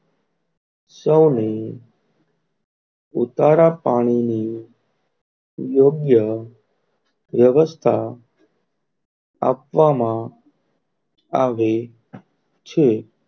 સૌની ઉતારા પાણી ની યોગ્ય યવસ્થા આપવામાં આવે છે.